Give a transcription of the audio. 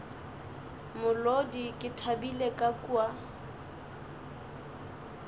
molodi ke thabile ka kwa